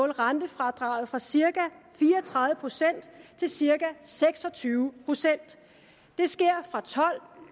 rentefradraget fra cirka fire og tredive procent til cirka seks og tyve procent det sker og tolv